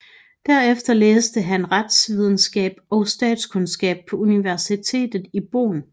Derefter læste han retsvidenskab og statskundskab på Universitetet i Bonn